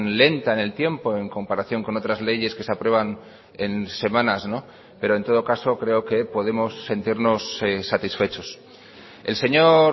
lenta en el tiempo en comparación con otras leyes que se aprueban en semanas pero en todo caso creo que podemos sentirnos satisfechos el señor